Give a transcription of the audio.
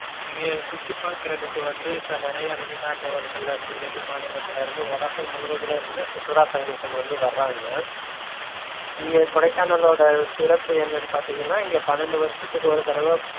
இங்க சுத்திபாக்கறதுக்கு வந்து இப்ப நிறைய வெளிநாட்டவர்கலருந்து, வெளிமாநிலத்துலருந்து உலகம் முலுவதும்ல இருந்து சுற்றுலா பயணிகள் வந்து வர்றாங்க இங்க கொடைக்கானளோட சிறப்பு என்னனு பாத்தீங்கனா இங்க பன்னண்டு வருஷத்துக்கு ஒரு தடவ